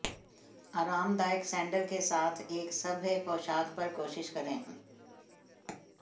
आरामदायक सैंडल के साथ एक सभ्य पोशाक पर कोशिश करें